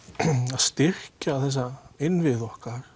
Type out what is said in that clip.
að styrkja þessa innviði okkar